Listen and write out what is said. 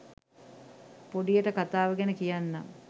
පොඩියට කතාව ගැන කියන්නම්